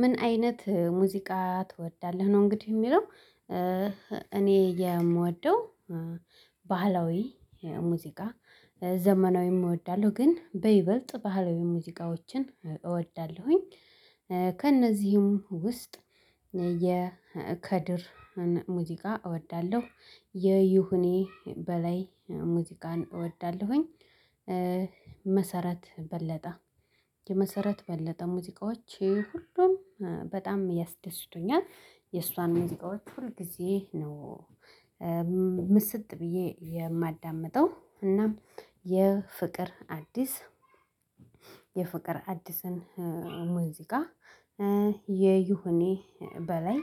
ምን አይነት ሙዚቃ ትወዳለህ ነው እንግዲህ የሚለው እኔ የምወደው ባህላዊ ሙዚቃ ዘመናዊም እወዳለሁ ግን በይበልጥ ባህላዊ ሙዚቃዎችን እወዳለሁኝ ከእነዚህም ውስጥ የከድርን ሙዚቃ እወዳለሁ የዩሁኔ በላይ ሙዚቃን እወዳለሁኝ መሰረት በለጠ። የመሰረት በለጠ ሙዚቃዎች ሁሉም በጣም ያስደስቱኛል የእሷን ሙዚቃዎች ሁል ግዜ ነው ምስጥ ብዬ የማዳምጠው እናም የፍቅር አዲስ የፍቅር አዲስን ሙዚቃ የዩሁኔ በላይ